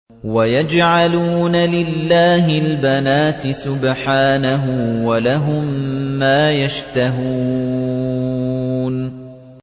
وَيَجْعَلُونَ لِلَّهِ الْبَنَاتِ سُبْحَانَهُ ۙ وَلَهُم مَّا يَشْتَهُونَ